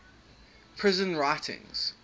prison writings